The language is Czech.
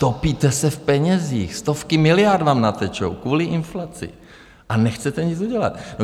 Topíte se v penězích, stovky miliard vám natečou kvůli inflaci, a nechcete nic udělat.